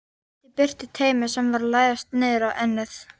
Ýtti burtu taumi sem var að læðast niður á ennið.